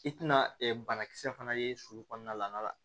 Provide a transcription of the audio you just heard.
I tɛna banakisɛ fana ye su kɔnɔna la